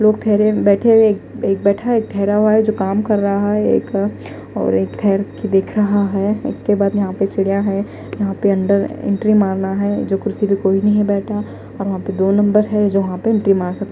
लोग ठहरे बैठे हुए एक बैठा एक ठहरा हुआ है जो काम कर रहा है एक और एक ठहर के देख रहा है इसके बाद यहां पे चिड़िया है यहां पे अंडर इंट्री मारना है जो कुर्सी पे कोई नहीं बैठा और यहां पे दो नंबर है जहां पे एंट्री मार सक--